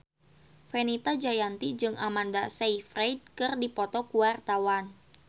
Fenita Jayanti jeung Amanda Sayfried keur dipoto ku wartawan